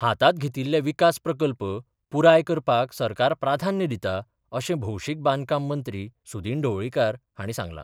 हातांत घेतिल्लें विकास प्रकल्प पुराय करपाक सरकार प्राधान्य दिता अशें भौशीक बांदकाम मंत्री सुदिन ढवळीकार हांणी सांगलां.